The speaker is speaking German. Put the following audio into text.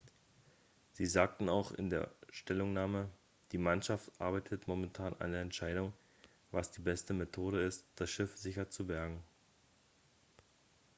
sie sagten auch in einer stellungnahme die mannschaft arbeitet momentan an der entscheidung was die beste methode ist das schiff sicher zu bergen